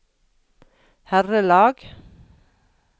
herrelag